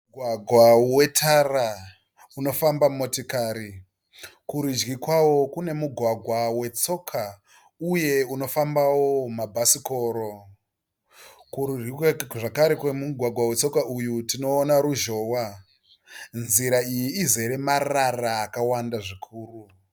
Mugwagwa wetara unofamba motikari kurudyi kwawo kune mugwagwa wetsoka uye unofambawo mabhasikoro kurudyi zvakare kwe mugwagwa wetsoka uyu tinoona ruzhowa nzira iyi izere marara akawanda zvikuru.